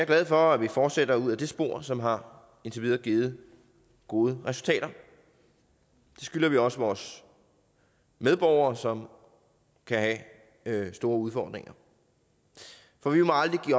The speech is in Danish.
glad for at vi fortsætter ud ad det spor som har givet gode resultater det skylder vi også vores medborgere som kan have store udfordringer for vi må aldrig give